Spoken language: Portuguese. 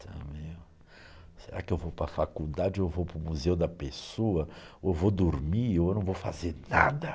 Será que eu vou para a faculdade, ou vou para o museu da pessoa, ou vou dormir, ou não vou fazer nada?